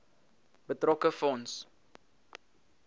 betrokke fonds